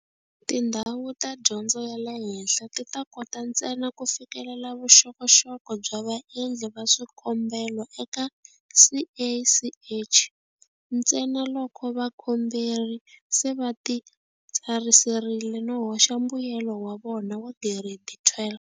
Tindhawu ta dyondzo ya le henhla ti ta kota ntsena ku fikelela vuxokoxoko bya vaendli va swikombelo eka CACH, ntsena loko vakomberi va se va titsarisile no hoxa mbuyelo wa vona wa Giredi 12.